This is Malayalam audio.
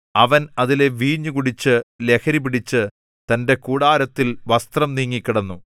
അവൻ അതിലെ വീഞ്ഞു കുടിച്ച് ലഹരിപിടിച്ചു തന്റെ കൂടാരത്തിൽ വസ്ത്രം നീങ്ങി കിടന്നു